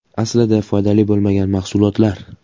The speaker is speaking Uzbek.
Aslida foydali bo‘lmagan mahsulotlar.